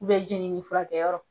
jɛnini furakɛyɔrɔ,